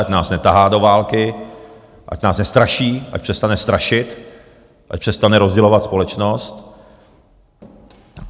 Ať nás netahá do války, ať nás nestraší, ať přestane strašit, ať přestane rozdělovat společnost.